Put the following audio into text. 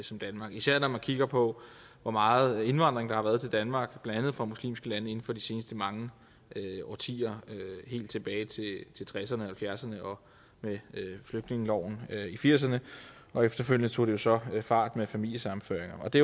som danmark især når man kigger på hvor meget indvandring der har været til danmark blandt andet fra muslimske lande inden for de seneste mange årtier helt tilbage til tresserne og halvfjerdserne og med flygtningeloven i firserne og efterfølgende tog det jo så fart med familiesammenføringerne og det